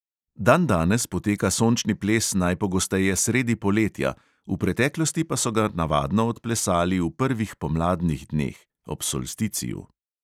Dandanes poteka sončni ples najpogosteje sredi poletja, v preteklosti pa so ga navadno odplesali v prvih pomladnih dneh (ob solsticiju).